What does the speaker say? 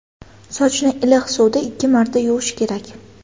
Sochni iliq suvda ikki marta yuvish kerak.